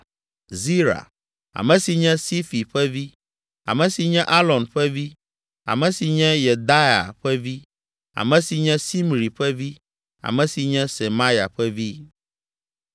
Zira, ame si nye Sifi ƒe vi, ame si nye Alon ƒe vi, ame si nye Yedaia ƒe vi, ame si nye Simri ƒe vi ame si nye Semaya ƒe vi.